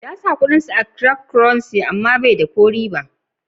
Na ji mutumin ya sa kudin sa a cryftocurrency, amma bai yi ko ribba.